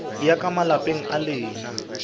ya ka malapeng a lena